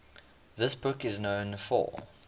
the book is known for